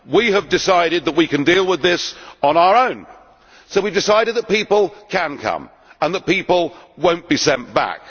we have decided that we can deal with this on our own. So we decided that people can come and that people will not be sent back.